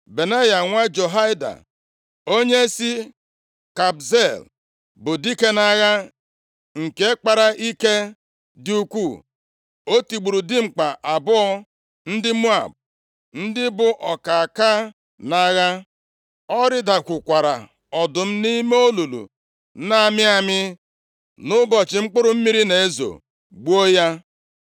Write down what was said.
Benaya, nwa Jehoiada, onye si Kabzeel, bụ dike nʼagha nke kpara ike dị ukwuu. O tigburu dimkpa abụọ ndị Moab, ndị bụ ọkaka nʼagha. O rịdakwukwara ọdụm nʼime olulu na-amị amị nʼụbọchị mkpụrụ mmiri na-ezo, gbuo ya.